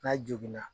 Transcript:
N'a joginna